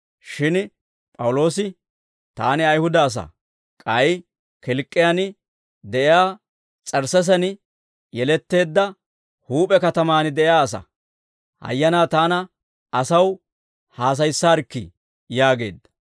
Shin P'awuloosi, «Taani Ayihuda asaa; k'ay Kilk'k'iyaan de'iyaa S'ersseesen yeletteedda huup'e katamaan de'iyaa asaa. Hayyanaa taana asaw haasayissaarikkii?» yaageedda.